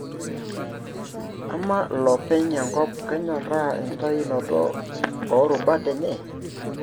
Ama lopeny enkop kenyoraa enkitayunoto o rubat enye?